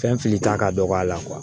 Fɛn filita ka dɔgɔ a la